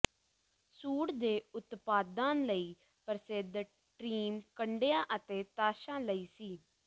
ਸੂਡ ਦੇ ਉਤਪਾਦਾਂ ਲਈ ਪ੍ਰਸਿੱਧ ਟ੍ਰੀਮ ਕੰਡਿਆਂ ਅਤੇ ਤਾਸ਼ਾਂ ਲਈ ਸੀ